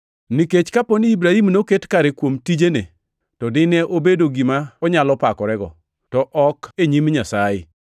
Nikech kaponi Ibrahim noket kare kuom tijene, to dine obedo gi gima onyalo pakorego, to ok e nyim Nyasaye.